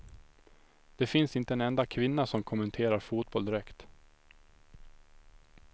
Det finns inte en enda kvinna som kommenterar fotboll direkt.